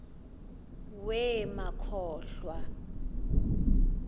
wee ma khohlwa